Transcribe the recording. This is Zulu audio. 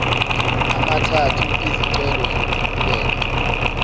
amathathu izicelo zokuqhubeka